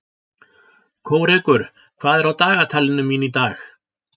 Kórekur, hvað er á dagatalinu mínu í dag?